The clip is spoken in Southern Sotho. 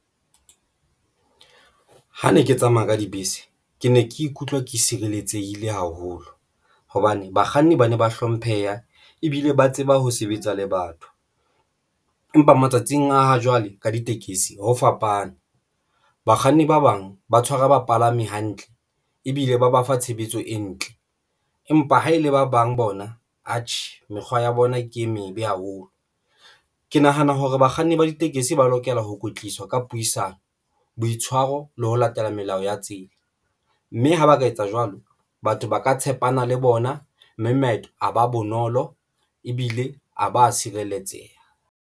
Ha ne ke tsamaya ka dibese, ke ne ke ikutlwa ke sireletsehile haholo hobane bakganni ba ne ba hlompheha ebile ba tseba ho sebetsa le batho. Empa matsatsing a ha jwale ka ditekesi ho fapana bakganni ba bang ba tshwara bapalami hantle ebile ba ba fa tshebetso e ntle. Empa ha e le ba bang bona atjhe, mekgwa ya bona ke e mebe haholo. Ke nahana hore bakganni ba ditekesi ba lokela ho kwetliswa ka puisano, boitshwaro le ho latela melao ya tsela, mme ha ba ka etsa jwalo, batho ba ka tshepana le bona mme maeto a ba bonolo ebile a ba a tshireletseha.